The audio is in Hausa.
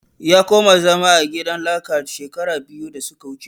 Ya koma zama a gidan laka shekara biyu da suka wuce